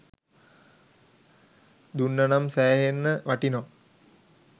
දුන්නනම් සෑහෙන්න වටිනව